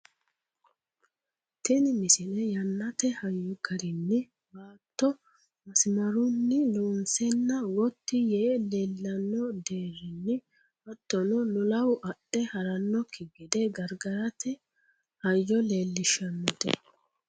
tini misile yannate hayyo garinni baatto masmarunni loonseenna gotti yee leellanno diranna hattono lolahu adhe harannokki gede gargarate hayyo leellishshannote